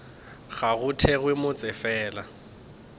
ga go thewe motse fela